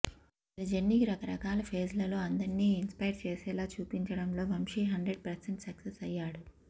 అతని జర్నీని రకరకాల ఫేజ్లలో అందర్నీ ఇన్స్పైర్ చేసేలా చూపించడంలో వంశీ హండ్రెడ్ పర్సెంట్ సక్సెస్ అయ్యాడు